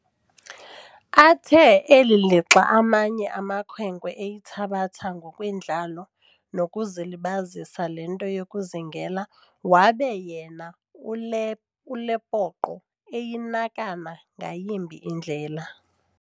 Athe eli lixa amanye amakhwenkwe eyithabatha ngokwendlalo nokuzilibazisa le nto yokuzingela, wabe yena ule uLepoqo eyinakana ngayimbi indlela.